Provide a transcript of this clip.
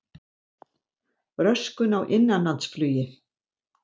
Röskun á innanlandsflugi